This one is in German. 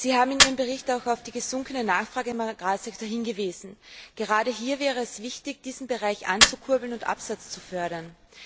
Sie haben in Ihrem Bericht auch auf die gesunkene Nachfrage auf dem Agrarsektor hingewiesen. Gerade hier wäre es wichtig, diesen Bereich anzukurbeln und den Absatz zu fördern.